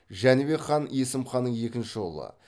жәнібек хан есім ханның екінші ұлы